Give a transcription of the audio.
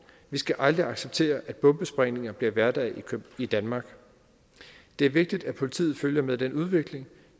vi skal aldrig acceptere at bombesprængninger bliver hverdag i danmark det er vigtigt at politiet følger med den udvikling